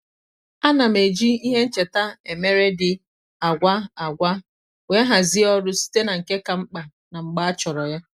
a na m eji ihe ncheta emere dị àgwá àgwá wee hazie ọrụ site na nke ka mkpa na mgbe achọrọ ya.